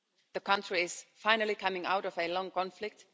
The country is finally coming out of a long conflict.